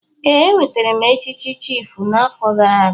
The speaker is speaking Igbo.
Ee, enwetara m echichi chiịfụ n'afọ gara aga.